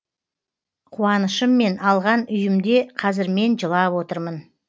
қуанышыммен алған үйімде қазір мен жылап отырмын